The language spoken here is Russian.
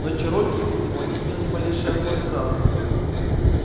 но чероки видимо не имел ни малейшей охоты драться